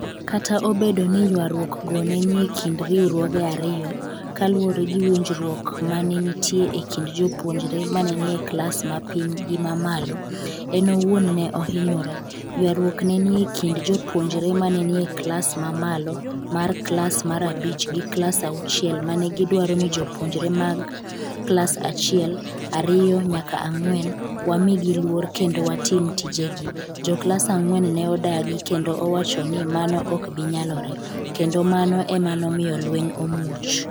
Kata obedo ni ywaruok go ne ni e kind riwruoge ariyo - kaluwore gi winjruok ma ne nitie e kind jopuonjre ma ne ni e klas ma piny gi ma ma malo, en owuon ne ohinyore “ywaruok ne ni e kind jopuonjre ma ne ni e klas ma malo, mar klas mar abich gi klas auchiel mane gidwaro ni jopuonjre mag klas achiel, ariyo nyaka ang’wen, wamigi luor kendo watim tijegi. jo klas ang’wen ne odagi kendo owacho ni mano ok bi nyalore, kendo mano ema nomiyo lweny omuoch